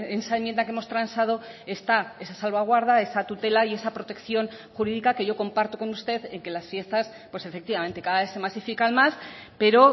esa enmienda que hemos transado está esa salvaguarda esa tutela y esa protección jurídica que yo comparto con usted en que las fiestas pues efectivamente cada vez se masifican más pero